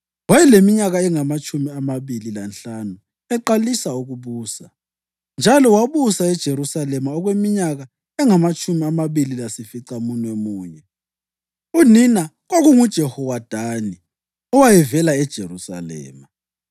Wayeleminyaka engamatshumi amabili lanhlanu eqalisa ukubusa, njalo wabusa eJerusalema okweminyaka engamatshumi amabili lasificamunwemunye. Unina kwakunguJehowadani, owayevela eJerusalema.